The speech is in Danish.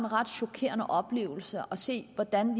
ret chokerende oplevelse at se hvordan